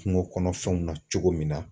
Kungokɔnɔfɛnw na cogo min na